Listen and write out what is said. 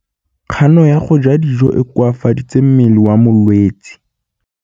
Kganô ya go ja dijo e koafaditse mmele wa molwetse.